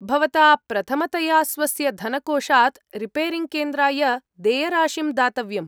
भवता प्रथमतया स्वस्य धनकोषात् रिपेरिङ्ग्केन्द्राय देयराशिं दातव्यम्।